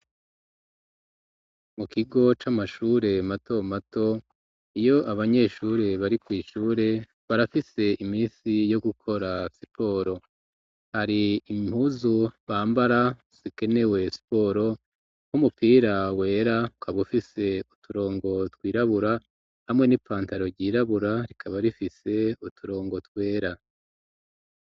Mu kigo c'amashure mato mato iyo abanyeshuri bari kw'ishure barafise imisi yo gukora siporo hari impuzu bambara zikenewe siporo nk'umupira wera ukaba ufise uturongo twirabura hamwe n'ipantaro ryirabura rikaba rifise uturongo twera.